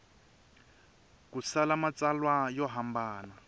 ku tsala matsalwa yo hambana